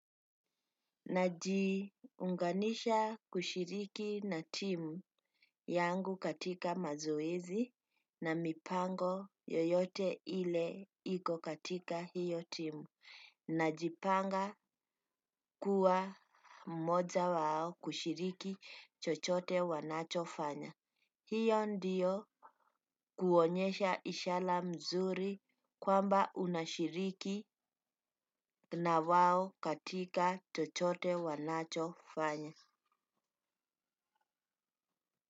Najiunganisha kushiriki na timu yangu katika mazoezi na mipango yoyote ile iko katika hiyo timu. Najipanga kuwa mmoja wao kushiriki chochote wanachofanya. Hiyo ndiyo kuonyesha ishara mzuri kwamba unashiriki na wao katika chochote wanachofanya.